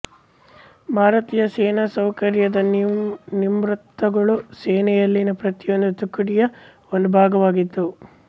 ಭಾರತೀಯ ಸೇನಾಸೌಕರ್ಯದ ನಿರ್ಮಾತೃಗಳು ಸೇನೆಯಲ್ಲಿನ ಪ್ರತಿಯೊಂದು ತುಕಡಿಯ ಒಂದು ಭಾಗವಾಗಿದ್ದವು